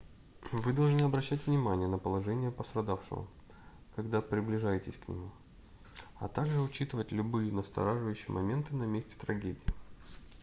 вы должны обращать внимание на положение пострадавшего когда приближаетесь к нему а также учитывать любые настораживающие моменты на месте трагедии